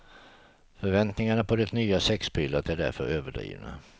Förväntningarna på det nya sexpillret är därför överdrivna.